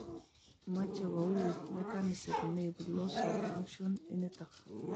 Moche koui mechanism neibu loss of function initok